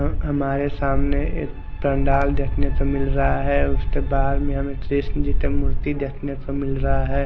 और हमारे सामने एक पंडाल देखने को मिल रहा है उसके बहार में हमे एक कृष्ण जी का मूर्ति देखने को मिल रहा है।